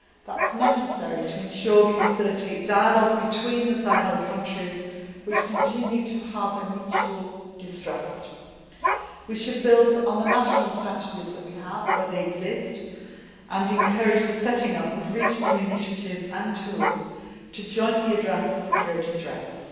That is necessary to ensure that we facilitate dialogue between the Sahel countries, which continue to harbour mutual distrust. We should build on the national strategies that we have where they exist and encourage the setting up of regional initiatives and tools to jointly address security threats.